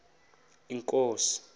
inkosi